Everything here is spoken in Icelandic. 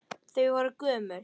Þau voru gömul.